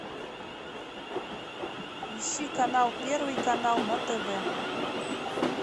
ищи канал первый канал на тв